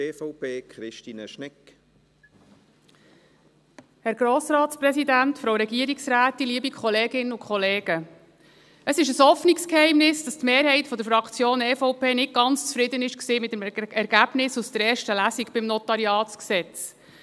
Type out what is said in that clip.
Es ist ein offenes Geheimnis, dass die Mehrheit der Fraktion EVP mit dem Ergebnis der ersten Lesung beim NG nicht ganz zufrieden war.